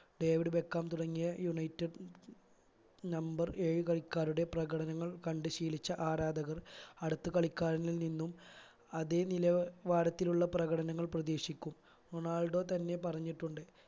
David Beckham തുടങ്ങിയ united number ഏഴ് കളിക്കാരുടെ പ്രകടനങ്ങൾ കണ്ട് ശീലിച്ച ആരാധകർ അടുത്ത കളിക്കാരിൽ നിന്നും അതെ നില വാരത്തിലുള്ള പ്രകടനങ്ങൾ പ്രതീക്ഷിക്കും റൊണാൾഡോ തന്നെ പറഞ്ഞിട്ടുണ്ട്